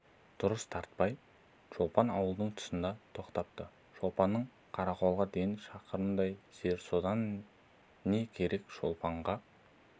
дұрыс тартпай шолпан ауылының тұсына тоқтапты шолпаннан қарақолға дейін шақырымдай жер содан не керек шолпанға